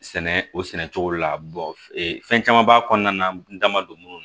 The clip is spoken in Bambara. Sɛnɛ o sɛnɛ cogo la fɛn caman b'a kɔnɔna na n'an ma don munnu